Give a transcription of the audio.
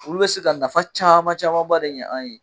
wulu bɛ se ka nafa caman camanba de ɲa an ye.